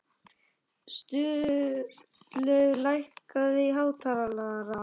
Sturlaugur, lækkaðu í hátalaranum.